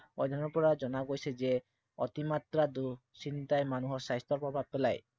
অধ্য়য়নৰ পৰা জনা গৈছে যে অতিমাত্ৰা দুশ্চিন্তাই মানুহৰ স্বাস্থ্য়ত প্ৰভাৱ পেলাই।